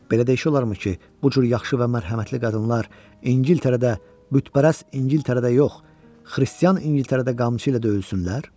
Belə də işi olarmı ki, bu cür yaxşı və mərhəmətli qadınlar İngiltərədə, bütpərəst İngiltərədə yox, xristian İngiltərədə qamçı ilə döyülsünlər?